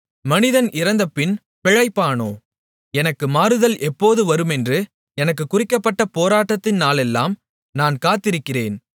மனிதன் இறந்தபின் பிழைப்பானோ எனக்கு மாறுதல் எப்போது வருமென்று எனக்குக் குறிக்கப்பட்ட போராட்டத்தின் நாளெல்லாம் நான் காத்திருக்கிறேன்